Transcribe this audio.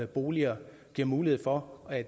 boliger og giver mulighed for at